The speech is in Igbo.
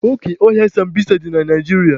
Oke ọhịa sambisa dị na Naijiria.